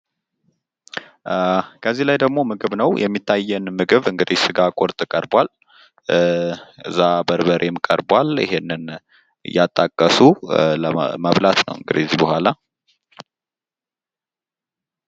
ከዚህ ላይ ደግሞ ምግብ ነው። የሚታየን ምግብ እንግዲህ ስጋ ቁርጥ ቀርቧል። እዛ በርበሬም ቀርቧል ይህንን እያጣቀሱ መብላት ነው እንግዲህ እዛ በኋላ።